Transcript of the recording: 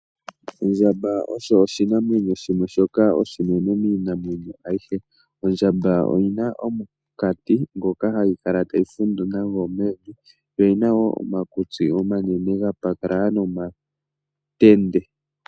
Ondjamba osho oshinamwenyo shimwe shoka oshinene miinamwenyo ayihe, ondjamba oyina omunkati ngoka hayi kala tayi fundu nago mevi. yo oyina woo omakutsi omanene gapatalala nomatende.